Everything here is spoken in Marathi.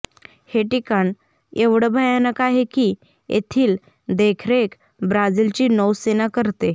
हे ठिकाण एवढे भयानक आहे की येथील देखरेख ब्राझीलची नौसेना करते